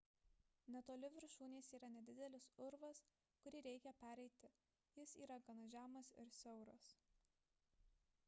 netoli viršūnės yra nedidelis urvas kurį reikia pereiti jis yra gana žemas ir siauras